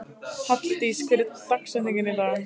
Halldís, hver er dagsetningin í dag?